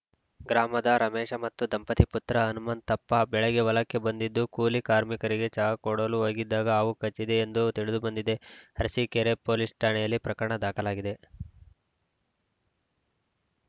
ಗ್ರಾಮದ ರಮೇಶ ಮತ್ತು ದಂಪತಿ ಪುತ್ರ ಹನುಮಂತಪ್ಪ ಬೆಳಗ್ಗೆ ಹೊಲಕ್ಕೆ ಬಂದಿದ್ದು ಕೂಲಿ ಕಾರ್ಮಿಕರಿಗೆ ಚಹಾ ಕೊಡಲು ಹೋಗಿದ್ದಾಗ ಹಾವು ಕಚ್ಚಿದೆ ಎಂದು ತಿಳಿದುಬಂದಿದೆ ಅರಸಿಕೇರಿ ಪೊಲೀಸ್‌ ಠಾಣೆಯಲ್ಲಿ ಪ್ರಕರಣ ದಾಖಲಾಗಿದೆ